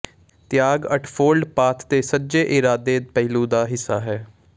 ਤਿਆਗ ਅੱਠਫੋਲਡ ਪਾਥ ਦੇ ਸੱਜੇ ਇਰਾਦੇ ਪਹਿਲੂ ਦਾ ਹਿੱਸਾ ਹੈ